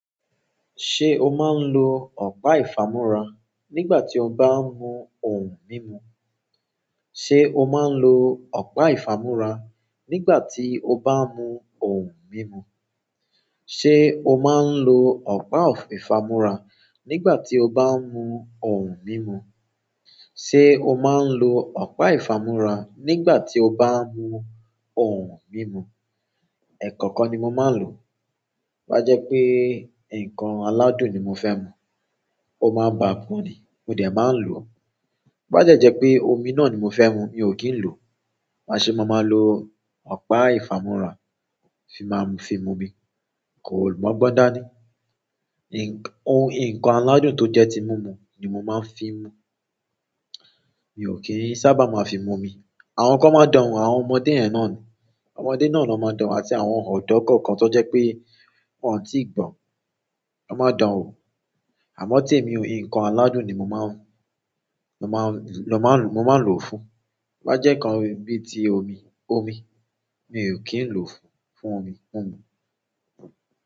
Ṣé o máa ń lo ọ̀pá ìfámúra nígbà tí o bá ń mu ohun mímu? Ṣé o máa ń lo ọ̀pá ìfámúra nígbà tí o bá ń mu ohun mímu? Ṣé o máa ń lo ọ̀pá ìfámúra nígbà tí o bá ń mu ohun mímu? Ṣé o máa ń lo ọ̀pá ìfámúra nígbà tí o bá ń mu ohun mímu? Ẹ̀kọ́okan ni mo máa ń lò. To bá jẹ́ pé nǹkan aládùn ni mo fẹ́ mu, ó máa ba ọkàn mi, mo dẹ̀ máa n lò ó. To bá dẹ́ jẹ́ pé omi náà ni mo fẹ́ mu, mi ò kí ń lò ó. Maa ṣe máa má lo ọ̀pá ìfámúra fi máa fi mu omi, kò mọ́ gbọ́n dáa ni. Ìn-ohun, nǹkan aládùn tó jẹ́ ti mú mu ni mo máa ń fi mu. Mi ò kí ń sábà máa fi mu omi. Àwọn kan máa ń dánwo, àwọn ọmọdé yen náà ni. Ọmọdé náà ló máa ń dánwo àti àwọn ọ̀dọ́ kọ̀ọ̀kan tó jẹ́ pé wọ́n ò tíì gbọ́n, ló máa dán wo. Àmọ́ n tèmi o, nǹkan aládùn ni mo máa ń, mo máa ń lo, mo máa ń lò ó fún un. To bá jẹ́ nkan bí i ti omi, omi mi ò kí ń lò ó fún, fún omi, mu mú.